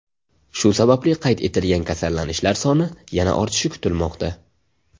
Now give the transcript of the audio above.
Shu sababli qayd etilgan kasallanishlar soni yana ortishi kutilmoqda.